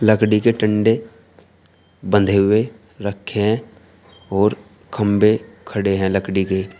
लकड़ी के डंडे बंधे हुए रखें और खंभे खड़े हैं लकड़ी के।